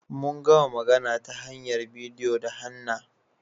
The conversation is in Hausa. Mun gama magana ta hanyar bidiyo da Hannah.